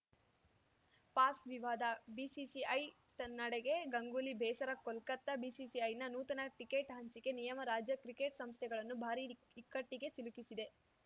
pass ವಿವಾದ BCCI ತನ್ನಡೆಗೆ ಗಂಗೂಲಿ ಬೇಸರ ಕೋಲ್ಕತಾ ಬಿಸಿಸಿಐನ ನೂತನ ಟಿಕೆಟ್‌ ಹಂಚಿಕೆ ನಿಯಮ ರಾಜ್ಯ ಕ್ರಿಕೆಟ್‌ ಸಂಸ್ಥೆಗಳನ್ನು ಭಾರೀ ಇಕ್ಕಟ್ಟಿಗೆ ಸಿಲುಕಿಸಿದೆ